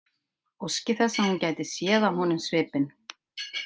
Óski þess að hún gæti séð á honum svipinn.